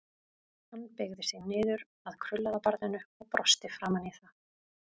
Hann beygði sig niður að krullaða barninu og brosti framan í það.